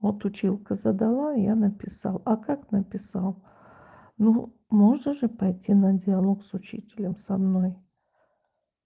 вот училка задала я написал а как написал но можно же пойти на диалог с учителем со мной